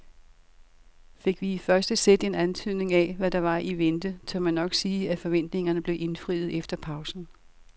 Fik vi i første sæt en antydning af hvad der var i vente, tør man nok sige at forventningerne blev indfriet efter pausen.